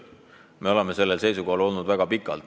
Me oleme sellel seisukohal olnud väga kaua.